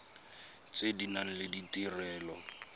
tse di nang le ditirelo